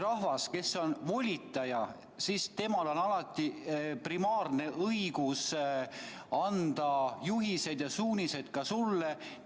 Rahval, kes on volitaja, on alati primaarne õigus anda juhiseid ja suunised ka sulle.